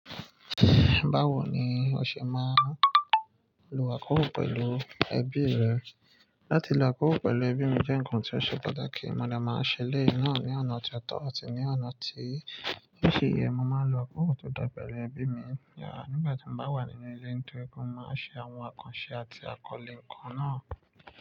Báwo ni o ṣe máa ń lo akóko pẹ̀lú ẹbí rẹ? Láti lo akólo pẹ̀lú ẹbí mi jẹ́ ǹkan tí ó ṣe pàtàkì. Mo dè máa ṣẹ elẹ̀yi náà ní ọ̀nà tótọ́ àti ní ọ̀nà tí o si ye. Mo máa ń lo akóko tó dára pẹ̀lú ẹbí mi nígbà tí mo bá wà nínú ilé torí pé mo máa ń ṣe àwọn àkànṣe àti àkọlé ǹkan náà.